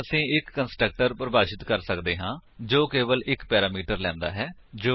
ਹੁਣ ਅਸੀ ਇੱਕ ਕੰਸਟਰਕਟਰ ਪਰਿਭਾਸ਼ਿਤ ਕਰ ਸੱਕਦੇ ਹਾਂ ਜੋ ਕੇਵਲ ਇੱਕ ਪੈਰਾਮੀਟਰ ਲੈਂਦਾ ਹੈ